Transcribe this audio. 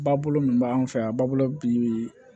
Ba bolo min b'an fɛ yan a b'a bolo bi